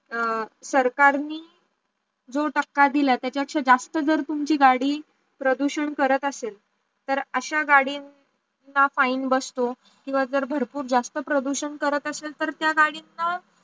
सरकारनी जो टाक्या दिली त्याचा पेक्षा जास्त जर तुमची गाडी प्रदूषण करत असेल तर अश्या गाडयांना fine बसतो किव्वा जर भरपूर जास्त प्रदूषण करत असेल तर त्या गाडींचा